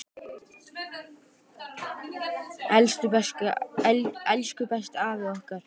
Elsku besti afi okkar.